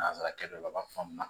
Nanzarakɛ dɔ la a b'a fɔ a ma